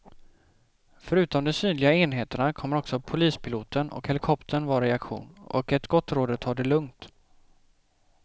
Förutom de synliga enheterna kommer också polispiloten och helikoptern att vara i aktion, och ett gott råd är att ta det lugnt.